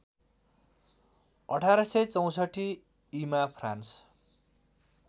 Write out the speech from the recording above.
१८६४ ईमा फ्रान्स